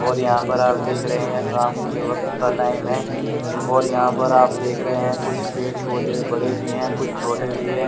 और यहां पर आप देख रहे हैं शाम के वक्त का टाइम है और यहां पर आप देख रहे हैं कुछ पेड़ पौधे बड़े भी हैं कुछ छोटे भी हैं।